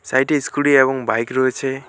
Side -এ scooty এবং bike রয়েছে।